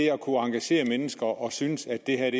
er at kunne engagere mennesker og synes at det er